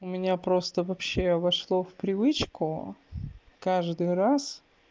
у меня просто вообще вошло в привычку каждый раз